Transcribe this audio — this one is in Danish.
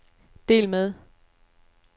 del med